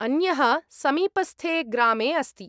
अन्यः समीपस्थे ग्रामे अस्ति।